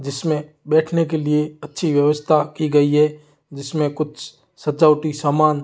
जिसमें बैठने के लिए अच्छी व्यवस्था की गई है जिसमें कुछ सचौटी सामान--